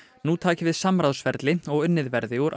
nú taki við samráðsferli og unnið verði úr